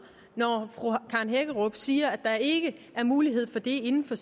når fru karen hækkerup siger at der ikke er mulighed for det inden for